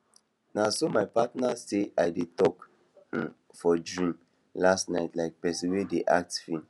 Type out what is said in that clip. na so my partner say i dey talk um for dream last night like person wey dey act film